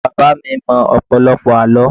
Bàbá bàbá mi mọ ọ̀pọ̀lọpọ̀ àlọ́